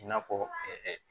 I n'a fɔ